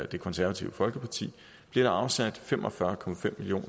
det konservative folkeparti bliver der afsat fem og fyrre million